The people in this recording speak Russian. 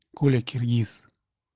коля киргиз